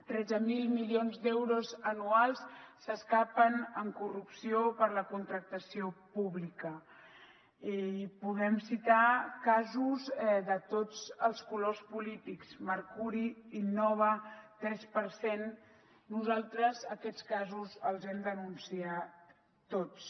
tretze mil milions d’euros anuals s’escapen en corrupció per la contractació pública i podem citar casos de tots els colors polítics mercuri innova tres per cent nosaltres aquests casos els hem denunciat tots